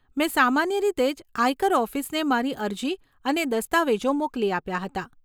મેં સામાન્ય રીતે જ આયકર ઓફિસને મારી અરજી અને દસ્તાવેજો મોકલી આપ્યાં હતાં.